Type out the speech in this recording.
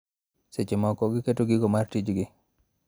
Seche moko giketo giko mar tichgi.